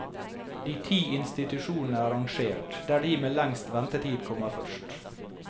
De ti institusjonene er rangert, der de med lengst ventetid kommer først.